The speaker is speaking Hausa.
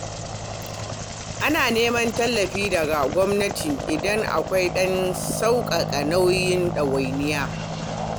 A nemi tallafi daga gwamnati idan akwai don sauƙaƙa nauyi ɗawainiya.